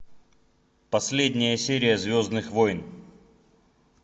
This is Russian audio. последняя серия звездных войн